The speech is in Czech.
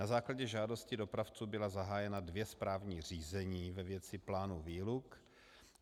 Na základě žádosti dopravců byla zahájena dvě správní řízení ve věci plánu výluk.